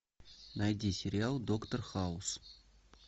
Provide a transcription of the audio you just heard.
найди сериал доктор хаус